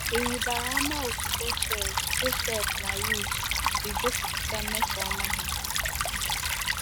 Ị̀ rịbara ama otú Bethuel, Joseph, na Ruth si gosipụta mmesoọma ha?